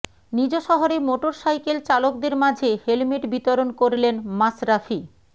নিজ শহরে মোটরসাইকেল চালকদের মাঝে হেলমেট বিতরণ করলেন মাশরাফি